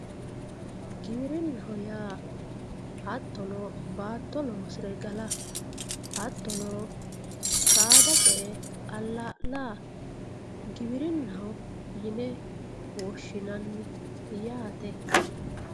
Giwirinaho yaa hatono baato loosire gala hatono saada ce'e ala'lla giwirinaho yine woshinanni yate